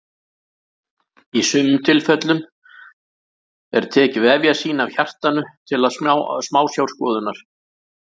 Í sumum tilfellum er tekið vefjasýni af hjartanu til smásjárskoðunar.